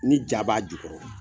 Ni ja b'a ju kɔrɔ